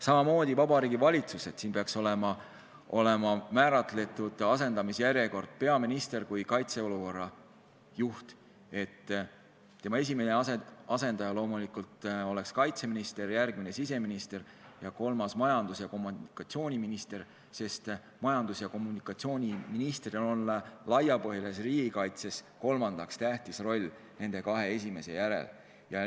Samamoodi peaks Vabariigi Valitsuse puhul olema määratletud asendamisjärjekord: peaminister kui kaitseolukorra juht, tema esimene asendaja loomulikult oleks kaitseminister, järgmine siseminister, kolmas majandus- ja kommunikatsiooniminister, sest majandus- ja kommunikatsiooniministril on laiapõhjalises riigikaitses kolmas tähtis roll nende kahe esimese järel.